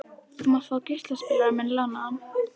Þú mátt fá geislaspilarann minn lánaðan.